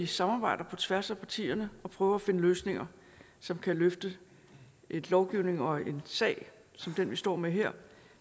samarbejdet på tværs af partierne og prøvet at finde løsninger som kan løfte en lovgivning og en sag som den vi står med her